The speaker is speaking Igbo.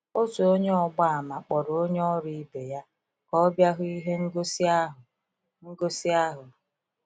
Otu Onye ọgba àmà kpọrọ onye ọrụ ibe ya ka ọ bịa hụ ihe ngosi ahụ. ngosi ahụ.